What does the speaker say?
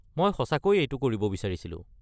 মই সঁচাকৈ এইটো কৰিব বিচাৰিছিলোঁ।